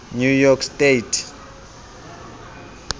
new york state